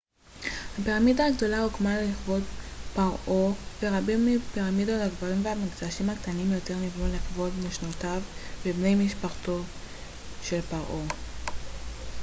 הפירמידה הגדולה הוקמה לכבוד פרעה ח'ופו ורבים מהפירמידות הקברים והמקדשים הקטנים יותר נבנו לכבוד נשותיו ובני משפחתו של ח'ופו